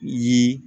Ye